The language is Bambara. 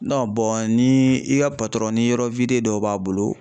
ni i ka ni yɔrɔ dɔw b'a bolo